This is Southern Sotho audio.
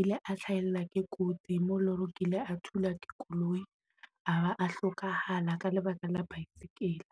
ile a hlahella ke kotsi mo eleng hore o kile a thula koloi a ba a hlokahala ka lebaka la bicycle.